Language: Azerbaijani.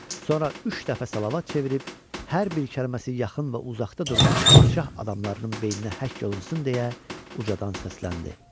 Sonra üç dəfə salavat çevirib, hər bir kəlməsi yaxın və uzaqda durmuş padşah adamlarının beyninə həkk olunsun deyə ucadan səsləndi.